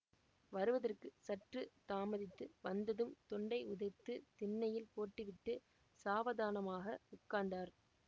வருவதற்கு சற்று தாமதித்தது வந்ததும் துண்டை உதறி திண்ணையில் போட்டுவிட்டு சாவதானமாக உட்கார்ந்தார்